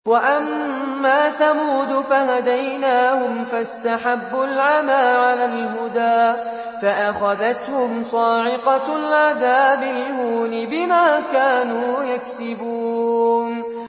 وَأَمَّا ثَمُودُ فَهَدَيْنَاهُمْ فَاسْتَحَبُّوا الْعَمَىٰ عَلَى الْهُدَىٰ فَأَخَذَتْهُمْ صَاعِقَةُ الْعَذَابِ الْهُونِ بِمَا كَانُوا يَكْسِبُونَ